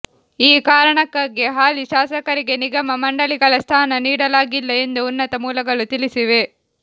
ಈ ಕಾರಣಕ್ಕಾಗಿ ಹಾಲಿ ಶಾಸಕರಿಗೆ ನಿಗಮ ಮಂಡಳಿಗಳ ಸ್ಥಾನ ನೀಡಲಾಗಿಲ್ಲ ಎಂದು ಉನ್ನತ ಮೂಲಗಳು ತಿಳಿಸಿವೆ